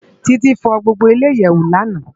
Titi fò gbógbó ile iyèwó làná